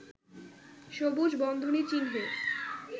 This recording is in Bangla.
সবুজ বন্ধনী চিহ্নে